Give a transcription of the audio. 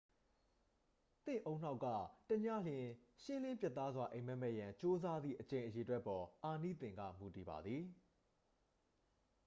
သင့်ဦးနှောက်က တစ်ညလျှင် ရှင်းလင်းပြတ်သားစွာ အိပ်မက်မက်ရန် ကြိုးပမ်းသည့် အကြိမ်ရေအတွက် အပေါ် အာနိသင်က မူတည်ပါသည်